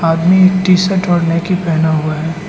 आदमी T shirt और नेकी पहना हुआ है।